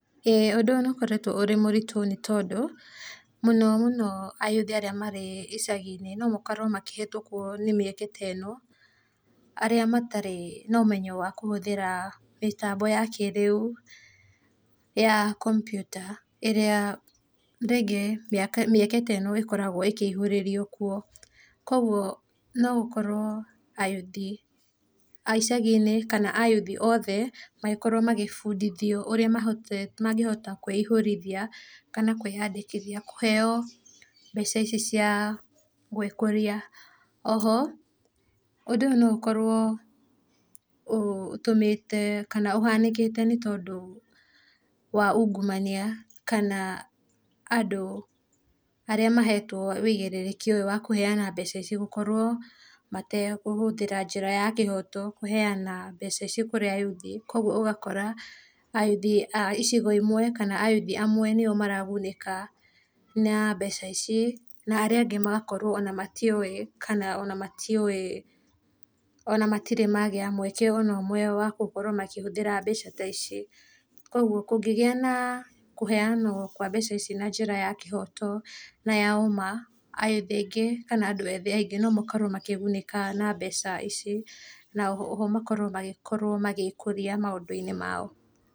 Ĩĩ ũndũ ũyũ nĩ ũkoretwo ũrĩ mũritũ nĩ tondũ mũno mũno ayuthi arĩa marĩ ĩcagi-inĩ no makorwo makĩhĩtũkwo nĩ mĩeke ta ĩno, arĩa matarĩ na ũmenyo wa kũhũthĩra mĩtambo ya kĩrĩa ya kompyuta ĩrĩa rĩngĩ mĩeke ta ĩno ĩkoragwo ĩkĩĩhũrĩrio kuo. Koguo no ũkorwo ayuthi aicagi-inĩ kana ayuthi othe makorwo magĩbundithio ũrĩa mangĩhota kwĩihũrĩria kana kwĩyandĩkithia kũheyo mbeca ici cia gwĩkũria. Oho ũndũ ũyũ no ũkorwo ũtũmĩte kana ũhanĩkĩte nĩ tondũ wa ungumania kana andũ arĩa mahetwo wĩigĩrĩrĩki ũyũ wa kũheyana mbeca ici gũkorwo matekũhũthĩra njĩra ya kĩhoto kũheyana mbeca ici kũrĩ ayuthi, koguo ũgakora ayuthi a icigo imwe kana ayuthi amwe nĩo maragunĩka na mbeca ici na arĩa angĩ magakorwo ona matiũĩ kana ona matirĩ magĩa mweke ona ũmwe wa gũkorwo makĩhũthĩra mbeca ta ici. Koguo kũngĩgĩa na kũheyanwo kwa mbeca ici na njĩra ya kĩhoto na ya ũma ayuthi aingĩ kana andũ ethĩ aingĩ no makorwo makĩgunĩka na mbeca ici na oho makorwo magĩkorwo magĩkũria maũndũ -inĩ mao.